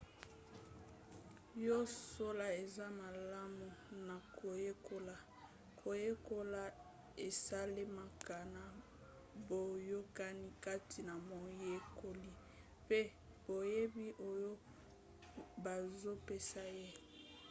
ya solo eza malamu na koyekola. koyekola esalemaka na boyokani kati na moyekoli mpe boyebi oyo bazopesa ye